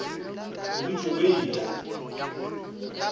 o dutše o e ya